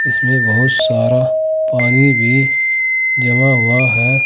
इसमें बहुत सारा पानी भी जमा हुआ है।